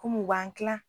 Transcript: u b'an kilan